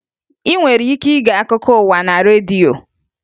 Ị nwere ike ige akụkọ ụwa na redio